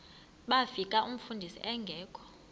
bafika umfundisi engekho